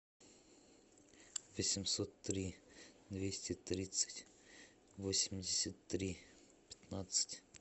восемьсот три двести тридцать восемьдесят три пятнадцать